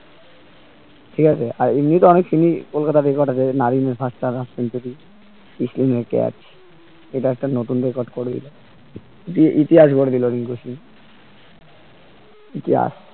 ঠিক আছে আর এমনিতেও অনেক ক্রিসলিন এর catch এটা একটা নতুন record করে দিলো যে ইতিহাস গড়ে দিলো রিংকু সিং ইতিহাস